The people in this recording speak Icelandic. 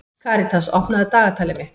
Karitas, opnaðu dagatalið mitt.